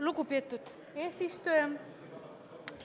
Lugupeetud eesistuja!